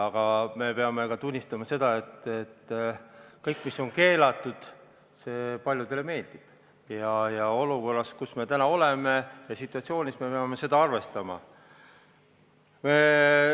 Aga me peame tunnistama, et kõik, mis on keelatud, paljudele meeldib, ja olukorras, kus me täna oleme, selles situatsioonis me peame seda arvestama.